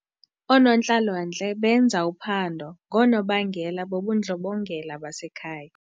Oonontlalontle benza uphando ngoonobangela bobundlobongela basekhaya.